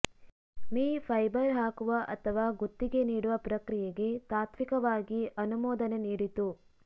me fibre ಹಾಕುವ ಅಥವಾ ಗುತ್ತಿಗೆ ನೀಡುವ ಪ್ರಕ್ರಿಯೆಗೆ ತಾತ್ವಿಕವಾಗಿ ಅನುಮೋದನೆ ನೀಡಿತು